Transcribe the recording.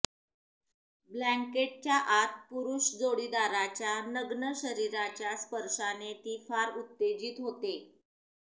ब्लँकेटच्या आत पुरुष जोडीदाराच्या नग्न शरीराच्या स्पर्शाने ती फार उत्तेजित होते